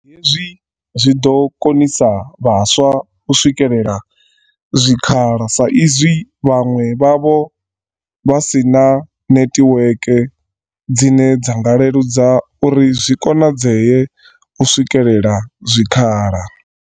Hezwi zwi ḓo konisa vhaswa u swikelela zwikhala sa i zwi vhaṅwe vhavho vha si na netiweke dzine dza nga leludza uri zwi konadzee u swikela zwikhala.